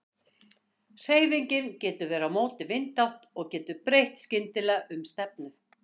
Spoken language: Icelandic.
Hreyfingin getur verið á móti vindátt og getur breytt skyndilega um stefnu.